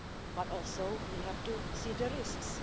But also we have to see the risks.